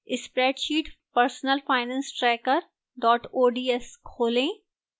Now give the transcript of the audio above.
spreadsheet personalfinancetracker ods खोलें